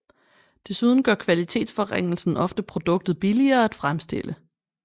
Desuden gør kvalitetsforringelsen ofte produktet billigere at fremstille